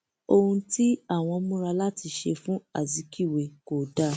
ohun tí àwọn múra láti ṣe fún azikiwe kò dáa